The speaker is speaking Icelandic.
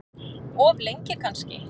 Of lengi kannski.